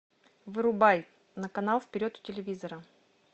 вырубай на канал вперед у телевизора